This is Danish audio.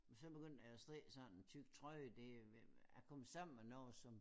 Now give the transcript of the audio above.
Så begyndte jeg at strikke sådan en tyk trøje det jeg kom sammen med noget som